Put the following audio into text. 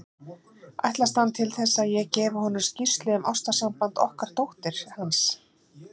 Ætlast hann til þess, að ég gefi honum skýrslu um ástarsamband okkar dóttur hans?